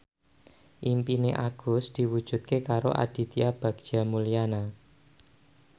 impine Agus diwujudke karo Aditya Bagja Mulyana